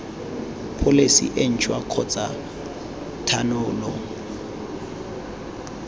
pholesi e ntšhwa kgotsa thanolo